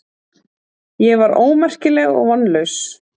Ég var ómerkileg og vonlaus.